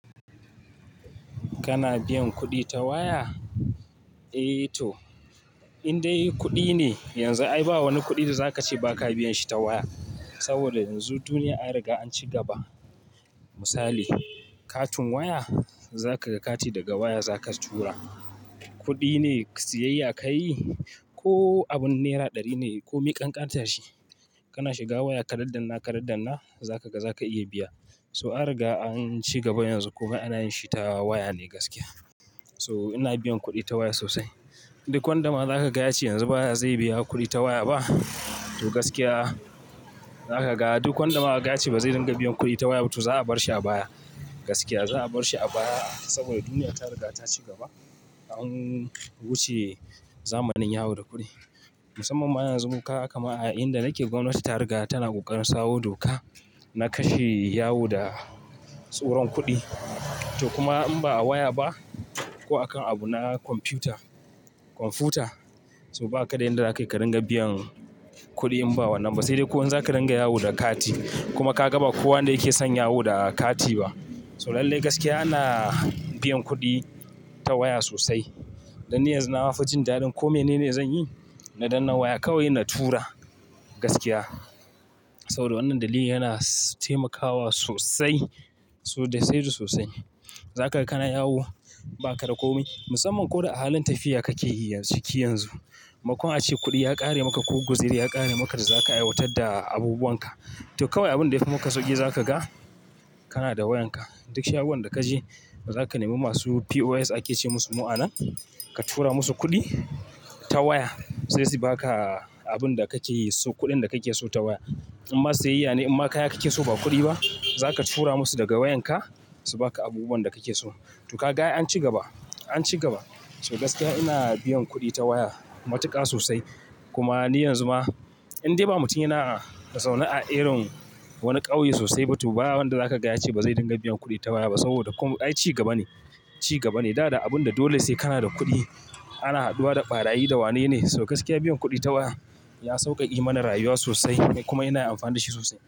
Kana biyan kuɗi ta waya? Eh to, in dai kuɗi ne yanzu ai ba wani kuɗi da za ka ce ba ka biyan shi ta waya. Saboda yanzu duniya an riga an ci gaba. Misali, katin waya za ka ga kati daga waya za ka tura. Kuɗi ne, siyayya ka yi ko abun naira ɗari ne ko miƙanƙantan shi. Kana shiga waya ka daddanna, ka daddanna za ka ga za ka iya biya. So an riga an ci gaba yanzu komai ana yin shi ta waya ne gaskiya. So ina biyan kuɗi ta waya sosai. Duk wanda ma za ka gaya cewa yanzu baya, zai biya kuɗi ta waya ba to gaskiya za ka ga duk wanda ma ka ga yache ba zai dinga biyan kuɗi ta waya ba to za a bar shi a baya. Gaskiya za a bar shi a baya saboda duniya ta riga ta ci gaba. An wuce zamanin yawo da kuɗi. Musamman yanzu kaga kamar a inda nake gwamnati ta riga tana ƙoƙarin sawo doka na kashe yawo da tsoron kuɗi. To kuma in ba a waya ba ko a kan abu na kwamfuta, kwamfuta. To ba ka dai yanda za ka dinga biyan kuɗi in ba wannan ba. Sai dai ko in za ka dinga yawo da kati kuma ka ga ba kowa ne yake son yawo da kati ba. To lallai gaskiya ana biyan kuɗi ta waya sosai. Dan ni yanzu na ma fi jin daɗin kome ne zan yi na danna waya kawai na tura gaskiya. Saboda wannan dali yana taimakawa sosai. To da saida sosai. Za ka ga kana yawo ba ka ga komi. Musamman ko da a halin tafiya kake yi ciki yanzu. Makon a ce kuɗi ya ƙare maka ko guziri ya ƙare maka da za ka aiwatar da abubuwan ka. To kawai abin da ya fi maka sauƙi za ka ga kana da wayanka. Duk shagon da ka je za ka nemi masu POS ake ce musu mu'amala. Ka tura musu kuɗi ta waya. Sai su ba ka abin da kake yi so kuɗin da kake so ta waya. Inma siyayya ne inma kaya kake so ba kuɗi ba, za ka tura musu daga wayanka su ba ka abubuwan da kake so. To ka ga an ci gaba, an ci gaba. To gaskiya ina biyan kuɗi ta waya matuƙa sosai. Kuma ni yanzu ma in dai ba mutum ina da tsauni a irin wani ƙauye sosai ba to ba wanda za ka gya ce bazai dinga biyan kuɗi ta waya ba. Saboda komai, ai ci gaba ne, ci gaba ne. Dada abun da dole sai kana da kuɗi ana haduwa da ɓarayi da wane ne. To gaskiya biyan kuɗi ta waya ya sauƙaƙe mana rayuwa sosai kuma ina amfana da shi sosai.